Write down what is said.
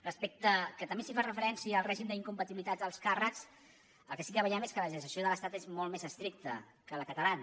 respecte que també s’hi fa referència al règim d’incompatibilitat dels càrrecs el que sí que veiem és que la legislació de l’estat és molt més estricta que la catalana